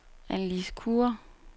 Annelise Kure